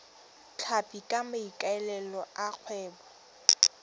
tlhapi ka maikaelelo a kgwebo